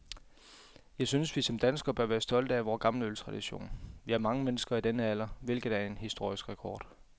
Jeg synes, vi som danskere bør være stolte af vor gamle øltradition. Vi har mange mennesker i denne alder, hvilket er en historisk rekord.